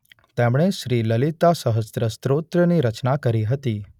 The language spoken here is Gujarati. તેમણે શ્રીલલિતાસહસ્ત્ર સ્તોત્ર ની રચના કરી હતી.